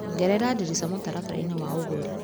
Ongerera ndirica mũtaratara-ini wa ũgũri .